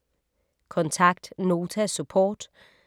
Kontakt Nota Support